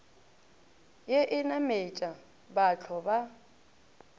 ye e nametša bathlo ba